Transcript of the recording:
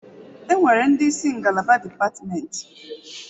Enwere ndị isi ngalaba dipatimenti.